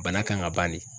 Bana kan ka ban de